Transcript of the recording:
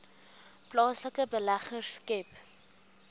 plaaslike beleggers skep